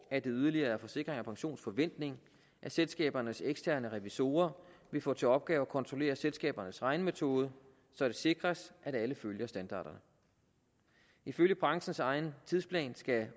at det yderligere er forsikring pensions forventning at selskabernes eksterne revisorer vil få til opgave at kontrollere selskabernes regnemetode så det sikres at alle følger standarderne ifølge branchens egen tidsplan skal